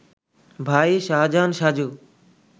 ভাই শাহজাহান সাজু